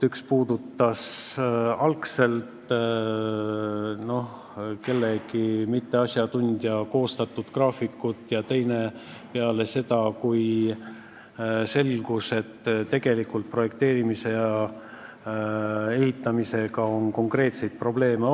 Üks oli mingi mitteasjatundja algselt koostatud graafik ja teine oli tehtud peale seda, kui selgus, et tegelikult on projekteerimise ja ehitamisega konkreetseid probleeme.